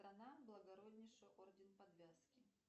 страна благороднейший орден подвязки